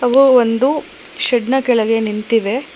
ಹಾಗು ಒಂದು ಶೆಡ್ ನ ಕೆಳಗೆ ನಿಂತಿವೆ.